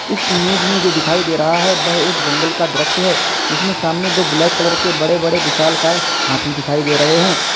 इस इमेज में जो दिखाई दे रहा है वह एक जंगल का दृश्य है जिसमें सामने दो ब्लैक कलर के बड़े बड़े विशाल काय हाथी दिखाई दे रहे हैं।